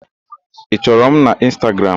Ị chọrọ m n'Ịnstagram?